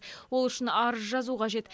ол үшін арыз жазу қажет